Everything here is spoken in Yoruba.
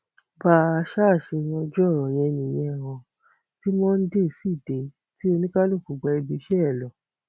bá a ṣáà ṣe yanjú ọrọ yẹn nìyẹn ò ti monde sì dé tí oníkálùkù gba ibiiṣẹ ẹ lọ